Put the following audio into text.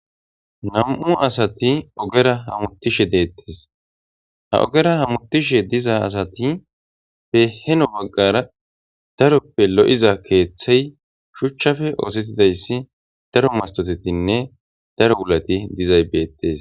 Nam''u asati ogera hamuttishshe de'etees.haa ogera hamuttishshe diza asati he heno bagara daroppe lo'iza keththeyi shuchchappe oththetidayissa daro masitotetinne daro wulatti dizayiss betees .